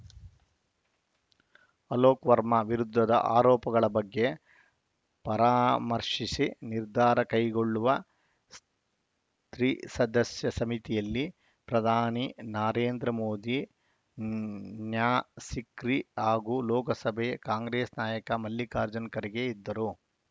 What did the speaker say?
ಅಲೋಕ್‌ ವರ್ಮಾ ವಿರುದ್ಧದ ಆರೋಪಗಳ ಬಗ್ಗೆ ಪರಾಮರ್ಶಿಸಿ ನಿರ್ಧಾರ ಕೈಗೊಳ್ಳುವ ತ್ರಿಸದಸ್ಯ ಸಮಿತಿಯಲ್ಲಿ ಪ್ರಧಾನಿ ನರೇಂದ್ರ ಮೋದಿ ನ್ಯಾ ಸಿಕ್ರಿ ಹಾಗೂ ಲೋಕಸಭೆ ಕಾಂಗ್ರೆಸ್‌ ನಾಯಕ ಮಲ್ಲಿಕಾರ್ಜುನ ಖರ್ಗೆ ಇದ್ದರು